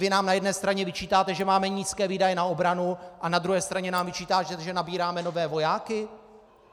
Vy nám na jedné straně vyčítáte, že máme nízké výdaje na obranu, a na druhé straně nám vyčítáte, že nabíráme nové vojáky.